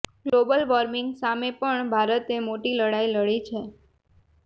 global warming સામે પણ ભારતે મોટી લડાઈ લડી છે